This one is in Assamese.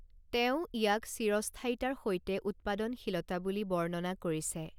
তেওঁ ইয়াক চিৰস্থায়িতাৰ সৈতে উৎপাদনশীলতা বুলি বৰ্ণনা কৰিছে।